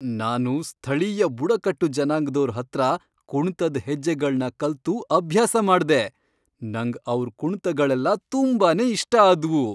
ನಾನು ಸ್ಥಳೀಯ ಬುಡಕಟ್ಟು ಜನಾಂಗ್ದೋರ್ ಹತ್ರ ಕುಣ್ತದ್ ಹೆಜ್ಜೆಗಳ್ನ ಕಲ್ತು ಅಭ್ಯಾಸ ಮಾಡ್ದೆ, ನಂಗ್ ಅವ್ರ್ ಕುಣ್ತಗಳೆಲ್ಲ ತುಂಬಾನೇ ಇಷ್ಟ ಆದ್ವು.